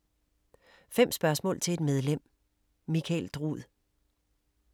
5 spørgsmål til et medlem: Michael Drud